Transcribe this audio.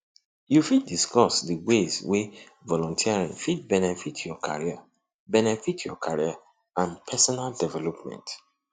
you fit discuss di ways wey volunteering fit benefit your career benefit your career and personal development